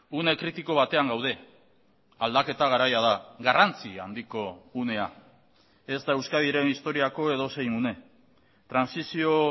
une kritiko batean gaude aldaketa garaia da garrantzia handiko unea ez da euskadiren historiako edozein une trantsizio